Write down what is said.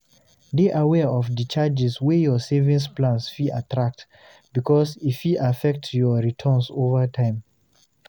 Dey aware of the charges wey your savings plans fit attract because e fit affect your returns over time